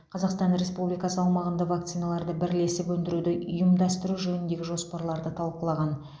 қазақстан республикасы аумағында вакциналарды бірлесіп өндіруді ұйымдастыру жөніндегі жоспарларды талқылаған